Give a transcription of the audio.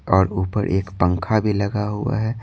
और ऊपर एक पंखा भी लगा हुआ है।